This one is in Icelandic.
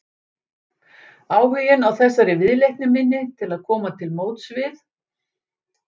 Áhuginn á þessari viðleitni minni til að koma til móts við